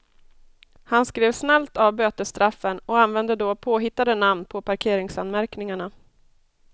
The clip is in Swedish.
Han skrev snällt av bötesstraffen och använde då påhittade namn på parkeringsanmärkningarna.